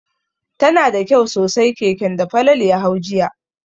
Tana da kyau sosai keken da Falalu ya hau jiya.